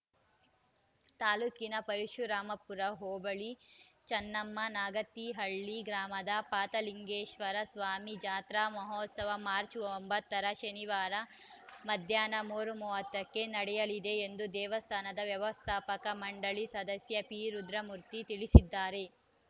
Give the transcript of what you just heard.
ತಾಲೂಕಿನ ಪರಶುರಾಮಪುರ ಹೋಬಳಿ ಚನ್ನಮ್ಮನಾಗತಿಹಳ್ಳಿ ಗ್ರಾಮದ ಪಾತಲಿಂಗೇಶ್ವರ ಸ್ವಾಮಿ ಜಾತ್ರಾ ಮಹೋತ್ಸವ ಮಾರ್ಚ್ ಒಂಬತ್ತ ರ ಶನಿವಾರ ಮಧ್ಯಾಹ್ನ ಮೂರು ಮೂವತ್ತಕ್ಕೆ ನಡೆಯಲಿದೆ ಎಂದು ದೇವಸ್ಥಾನದ ವ್ಯವಸ್ಥಾಪಕ ಮಂಡಳಿ ಸದಸ್ಯ ಪಿ ರುದ್ರಮೂರ್ತಿ ತಿಳಿಸಿದ್ದಾರೆ